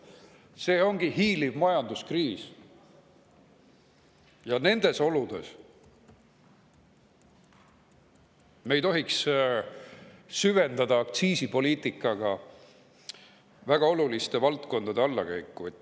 See ongi hiiliv majanduskriis ja nendes oludes me ei tohiks süvendada aktsiisipoliitikaga väga oluliste valdkondade allakäiku.